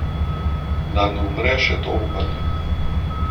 Da ne umre še to upanje.